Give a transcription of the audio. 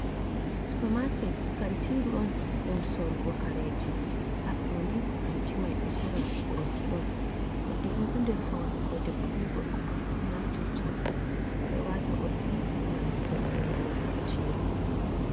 Supermaket kantiruon ɗum sorugo kareji haɗɗo'ni kantu mai ɗo sora urɗi’on urɗiɓo ɗo ɗer faune ko ɓeɓɓo ɓe gorko pat naftirta ɗo wata urɗi gam sottungo kacceli.